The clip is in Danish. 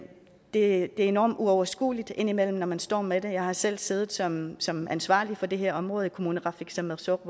er enormt uoverskueligt indimellem når man står med det jeg har selv siddet som som ansvarlig for det her område i kommuneqarfik sermersooq